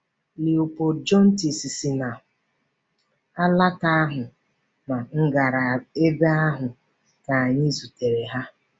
Léopold Jontès si na alaka ahụ na m gara ebe ahụ ka anyị zutere ha.